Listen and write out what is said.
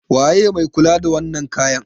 waye mai kula da wannan kayan?